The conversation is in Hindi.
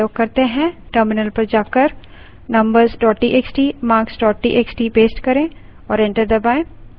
numbers txt marks txt paste करें और enter दबायें